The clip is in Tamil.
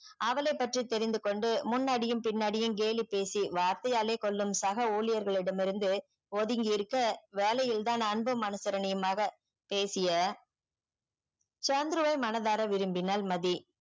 அவளை பற்றி தெரிந்து கொண்டு முன்னாடியும் பின்னாடியும் கேலி பேசி வார்த்தையே ஆளே கொள்ளும் சக உளியர்களிடம் இருந்து ஒதுங்கி இருக்க வேலையில் தான் அன்பு மனசரனயுமாக பேசிய சந்துருவை மனதார விரும்பினால் மதி